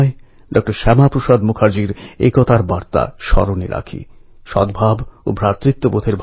ঠিক এরকমই এক মহাপুরুষ ছিলেন লোকমান্য তিলক যিনি অনেক ভারতীয়ের মনে গভীর ছাপ ফেলেছেন